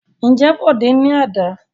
Ǹjẹ́ Bọ̀dé ní àdá?